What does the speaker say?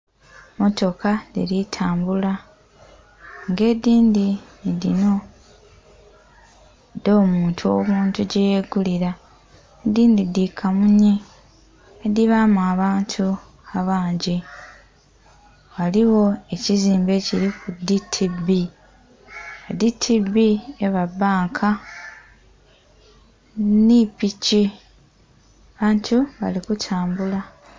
Mmotoka dhili tambula ng'edhindhi nhi dhino dh'omuntu obuntu gyeyegulira, edhindhi dhi kamunye edhibaamu abantu abangi. Ghaligho ekizimbe ekiliku DTB, DTB eba bbanka. Nhi piki. Abantu bali kutambula.